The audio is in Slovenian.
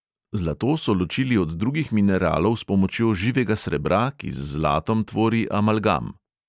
Zlato so ločili od drugih mineralov s pomočjo živega srebra, ki z zlatom tvori amalgam.